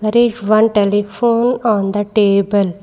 There is one telephone on the table.